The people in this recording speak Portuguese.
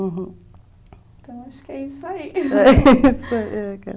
Então, acho que é isso aí.